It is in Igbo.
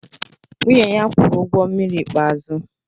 Nwunye ya kwụrụ ụgwọ mmiri ikpeazụ